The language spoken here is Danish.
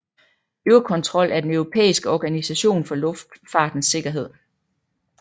Eurocontrol er den europæiske Organisation for Luftfartens Sikkerhed